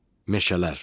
Meşələr.